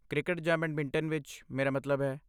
cricket ਜਾਂ badminton ਵਿੱਚ, ਮੇਰਾ ਮਤਲਬ ਹੈ